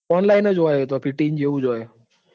Online જ હોય છે લ્યા PTE જેવું જ હોય.